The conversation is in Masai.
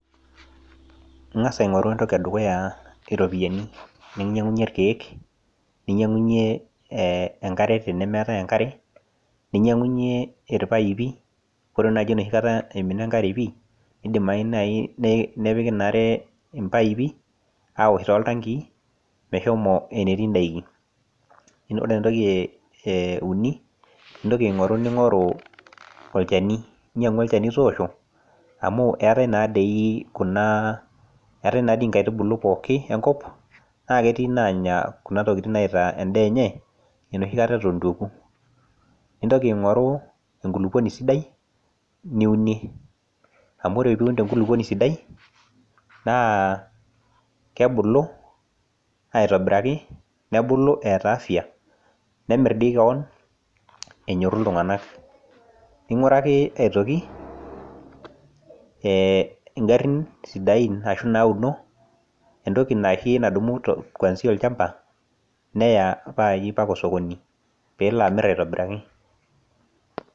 kang'as aing'oru entoki edukuya iropiyiani nanyang'unyie engare, ninyang'unyie ipaaipi, kore naaji enoshikata imina enkare pii nepiki ina are impaipi aosh too iltangi mesho enetii idaikin, ore entoki euni naa intoki aing'oru olchani toosho, amu eetae naadii inkaitubulu enkop naa ketii inanya kuna tokitin enoshikata etubulutua, nintoki aing'oru enkulupuoni sidai, niuni amu ore pee iun tenkulukuoni sidai naa kebulu aitobiraki , nebulu eeta afia nemir dii kewon pee enyoru iltung'anak, ning'uraki aitoki igarin sidain ashu inauno entoki nayayie kwansia olchamba neya naaji ompaka olsokoni pee elo amir aitobiraki.